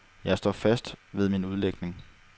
Jeg står fast ved min udlægning.